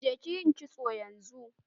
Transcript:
Je kiyi kitso yanzu!